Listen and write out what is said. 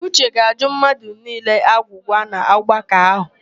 Uche ga-ajụ mmadụ niile agwụgwa n'ọgbakọ ahụ.